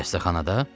Xəstəxanada?